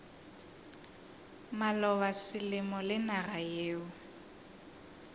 maloba selemo le naga yeo